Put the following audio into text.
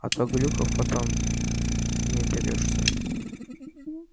а то глюков потом не оберёшься